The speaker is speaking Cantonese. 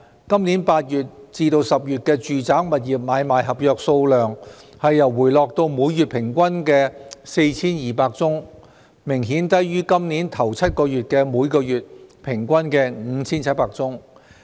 今年8月至10月的住宅物業買賣合約數目回落至每月平均約 4,200 宗，明顯低於今年首7個月的每月平均 5,700 宗。